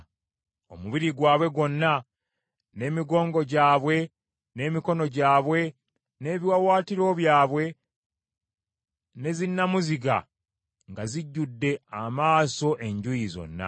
Omubiri gwabwe gwonna, n’emigongo gyabwe, n’emikono gyabwe, n’ebiwaawaatiro byabwe, ne zinnamuziga, nga zijjudde amaaso enjuuyi zonna.